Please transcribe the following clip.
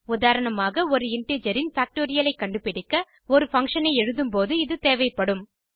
உதாரணமாக ஒரு இன்டிஜர் இன் பாக்டோரியல் ஐ கண்டுபிடிக்க ஒரு பங்ஷன் ஐ எழுதும் போது இது தேவைப்படும்